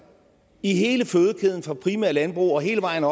i hele fødekæden fra det primære landbrug og hele vejen